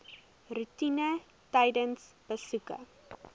roetine tydens besoeke